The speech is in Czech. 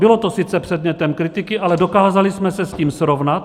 Bylo to sice předmětem kritiky, ale dokázali jsme se s tím srovnat.